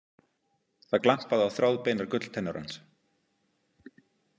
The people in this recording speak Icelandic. Það glampaði á þráðbeinar gulltennur hans.